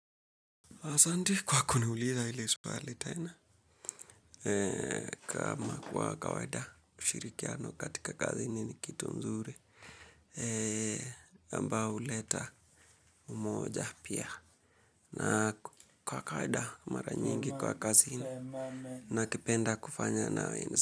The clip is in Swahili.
Asanti kwa kuniuliza ile swali tena kama kwa kawaida ushirikiano katika kazi ni kitu mzuri. Ambayo huleta umoja pia na kwa kwa kawaida mara nyingi kwa kazi nakipenda kufanya naweza.